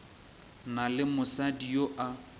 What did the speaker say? na le mosadi yo a